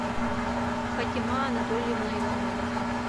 фатима анатольевна иванова